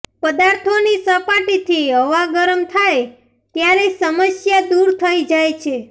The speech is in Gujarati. પદાર્થોની સપાટીથી હવા ગરમ થાય ત્યારે સમસ્યા દૂર થઈ જાય છે